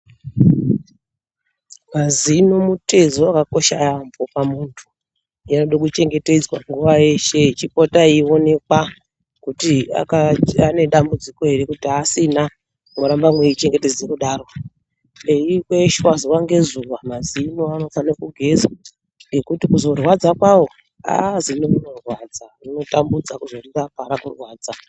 Mazino mutezo wakakosha yaambho pamunthu anode kuchengetedzwa nguwa yese eipota eionekwa kuti anedambudziko ere kutibasina mworamba mweichengetedza kudaro eikweshwa zuwa ngezuwa mazino anofana kugezwa ngekuti kuzorwadza kwawo agh zino rinorwadza rinotambudza kuzorirapa rarwadza.